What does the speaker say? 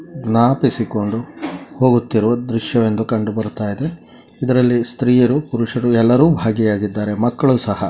ಜ್ಞಾಪಿಸಿಕೊಂಡು ಹೋಗುತ್ತಿರುವ ದೃಶ್ಯವೆಂದು ಕಂಡುಬರುತಾ ಇದೆ ಇದರಲ್ಲಿ ಸ್ತ್ರೀಯರು ಪುರುಷರು ಎಲ್ಲರು ಭಾಗಿಯಾಗಿದ್ದಾರೆ ಮಕ್ಕಳು ಸಹ --